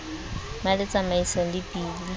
be le tsamaisano le bili